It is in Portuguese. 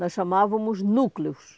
Nós chamávamos núcleos.